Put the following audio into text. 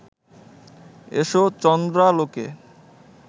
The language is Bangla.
এসো চন্দ্রালোকে